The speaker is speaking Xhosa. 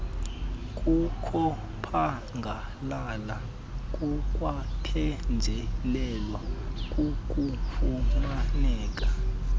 kokuphangalala kukwaphenjelelwa kukufumaneka